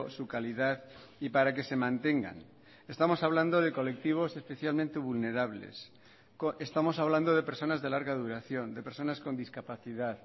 su calidad y para que se mantengan estamos hablando de colectivos especialmente vulnerables estamos hablando de personas de larga duración de personas con discapacidad